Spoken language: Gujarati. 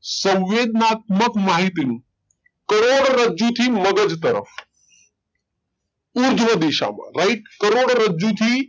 સંવેદનાતમક માહિતી કરોડરજ્જુ થી મગજ તરફ ઉર્ધ્વ દિશા માં રાઈટ કરોડરજ્જુ થી